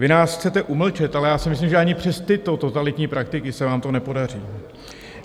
Vy nás chcete umlčet, ale já si myslím, že ani přes tyto totalitní praktiky se vám to nepodaří.